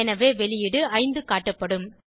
எனவே வெளியீடு 5 காட்டப்படும்